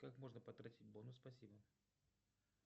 как можно потратить бонус спасибо